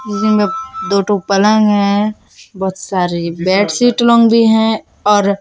दो ठो पलंग हैं बहोत सारी बेडशीट लोग भी है और--